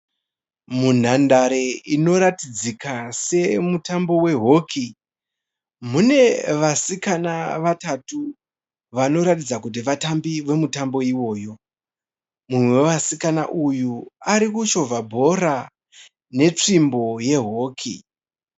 Munhandare inoratidzika semutambo we hockey, mune vasikana vatatu vanoratidza kuti vatambi vemutambo iwoyo, mumwe wevasikana uyu arikuchovha bhora netsvimbo ye hockey.